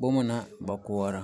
Boma na baŋ koɔrɔ,